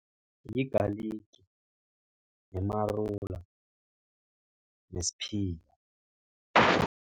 Yigaligi, umarula, nesiphila.